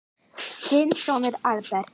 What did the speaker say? Þinn sonur, Albert.